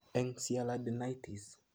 Eng sialadenitis